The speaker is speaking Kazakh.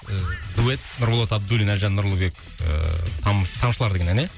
дуэт нұрболат абдуллин әлжан нұрлыбек ыыы тамшылар деген ән ә